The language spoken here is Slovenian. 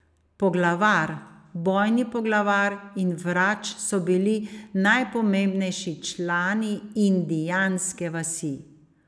Poglavar, bojni poglavar in vrač so bili najpomembnejši člani indijanske vasi.